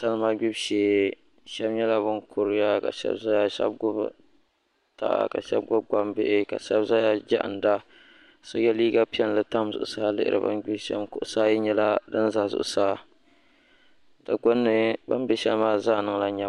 Salima ɡbibu shee shɛba nyɛla ban kuriya ka shɛba zaya ka shɛba ɡbubi ɡbambihi ka shɛba ʒiya jiɣinda so ye liiɡa piɛlli tam zuɣusaa yuuna bɛ ni ɡbiri shɛm kuɣusi ayi nyɛla din za zuɣusaa di ɡbunni bɛ ni ʒi luɣ' shɛli maa zaa niŋla nyam